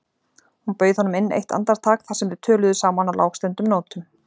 Hún bauð honum inn eitt andartak þar sem þau töluðu saman á lágstemmdum nótum.